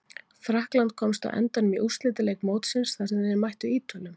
Frakkland komst á endanum í úrslitaleik mótsins þar sem þeir mættu Ítölum.